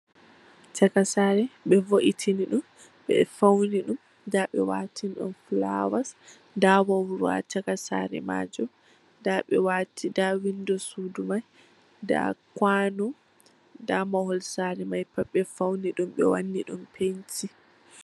Caka sare, ɓe vo'itini ɗum, ɓe fauni, ɗum. Nda ɓe waatini ɗum flawas. Nda wauru bo ha caka saare maajum. Nda ɓe waati... nda windo sudu mai, nda kwaano, nda mahol saare mai pat ɓe fauni ɗum, ɓe wanni ɗum penti.